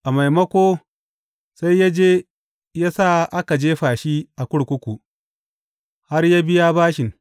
A maimako, sai ya je ya sa aka jefa shi a kurkuku, har yă biya bashin.